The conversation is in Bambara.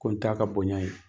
Ko t'a ka bonya ye.